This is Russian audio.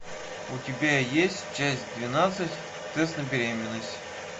у тебя есть часть двенадцать тест на беременность